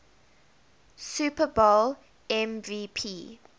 super bowl mvp